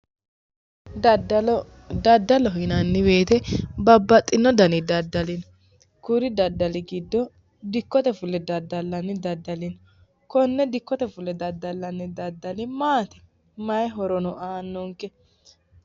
Daddallo ,daddallo yinnanni woyte babbaxino danni daddalli no kuri daddalli giddo dikkote fulle daddallanni dani daddalli no, kone dikkote fulle daddallanni maati, maayi horono aanonke.